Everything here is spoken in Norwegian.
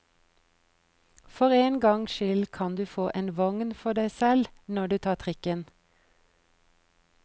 For en gangs skyld kan du få en vogn for deg selv når du tar trikken.